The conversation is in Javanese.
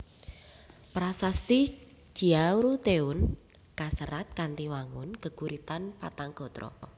Prasasti Ciaruteun kaserat kanthi wangun geguritan patang gatra